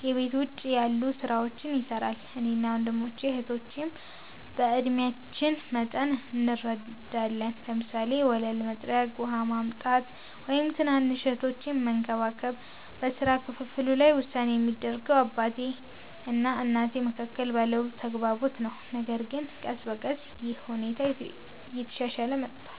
ከቤት ውጭ ያሉ ሥራዎችን ይሠራል። እኔና ወንድሞቼ እህቶቼም በዕድሜአችን መጠን እንረዳለን፤ ለምሳሌ ወለል መጥረግ፣ ውሃ ማምጣት፣ ወይም ትናንሽ እህቶቼን መንከባከብ። በሥራ ክፍፍሉ ላይ ውሳኔ የሚደረገው በአባቴ እና በእናቴ መካከል ባለው ተግባቦት ነው፣ ነገር ግን ቀስ በቀስ ይህ ሁኔታ እየተሻሻለ መጥቷል።